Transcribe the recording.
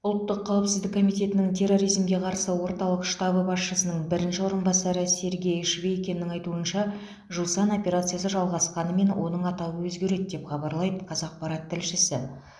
ұлттық қауіпсіздік комитетінің терроризмге қарсы орталық штабы басшысының бірінші орынбасары сергей швейкиннің айтуынша жусан операциясы жалғасқанымен оның атауы өзгереді деп хабарлайды қазақпарат тілшісі